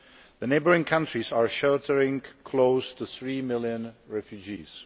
The neighbouring countries are sheltering close to 3 million refugees.